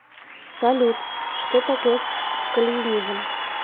салют что такое кальвинизм